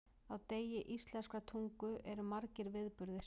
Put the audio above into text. Á degi íslenskrar tungu eru margir viðburðir.